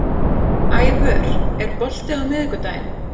Ævör, er bolti á miðvikudaginn?